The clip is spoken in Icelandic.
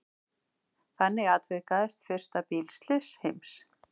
Þannig atvikaðist fyrsta bílslys heims.